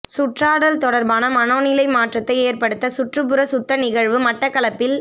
சுற்றாடல் தொடர்பான மனோநிலை மாற்றத்தை ஏற்படுத்த சுற்றுப்புற சுத்த நிகழ்வு மட்டக்களப்பில்